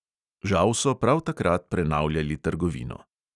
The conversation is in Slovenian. Žal so prav takrat prenavljali trgovino.